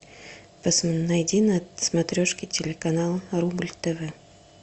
найди на смотрешке телеканал рубль тв